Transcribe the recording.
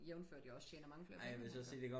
Jævnført jeg også tjener mange flere penge end han gør